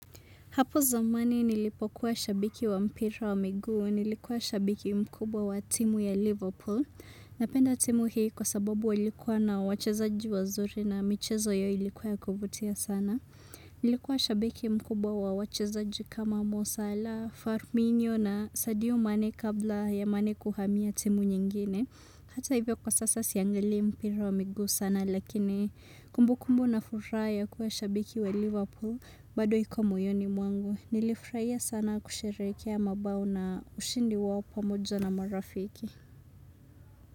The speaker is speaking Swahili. Hapo zamani nilipokuwa shabiki wa mpira wa miguu, nilikuwa shabiki mkubwa wa timu ya Liverpool. Napenda timu hii kwa sababu walikuwa na wachezaji wazuri na michezo yao ilikuwa ya kuvutia sana. Nilikuwa shabiki mkubwa wa wachezaji kama Mosala, Farminio na Sadio Mane kabla ya mane kuhamia timu nyingine. Hata hivyo kwa sasa siangalii mpira wa miguu sana lakini kumbukumbu na furaha ya kuwa shabiki wa Liverpool bado iko moyoni mwangu. Nilifurahia sana kusherehekea mabao na ushindi wao pamoja na marafiki.